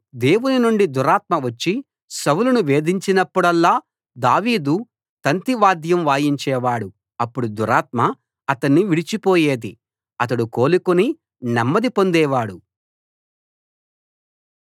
దేవుని నుండి దురాత్మ వచ్చి సౌలును వేధించినప్పుడల్లా దావీదు తంతి వాద్యం వాయించేవాడు అప్పుడు దురాత్మ అతణ్ణి విడిచిపోయేది అతడు కోలుకుని నెమ్మది పొందేవాడు